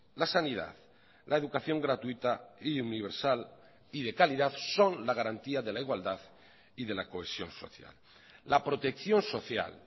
la sanidad la educación gratuita y universal y de calidad son la garantía de la igualdad y de la cohesión social la protección social